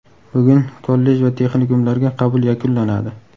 Bugun kollej va texnikumlarga qabul yakunlanadi.